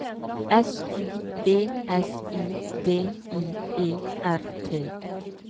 S U B S I D I E R T